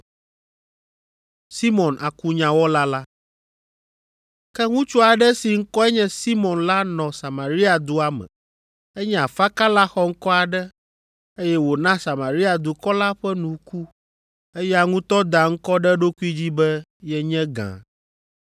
Ke ŋutsu aɖe si ŋkɔe nye Simɔn la nɔ Samaria dua me. Enye afakala xɔŋkɔ aɖe, eye wòna Samaria dukɔ la ƒe nu ku; eya ŋutɔ da ŋkɔ ɖe eɖokui dzi be yenye gã.